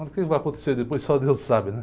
O que vai acontecer depois, só Deus sabe, né?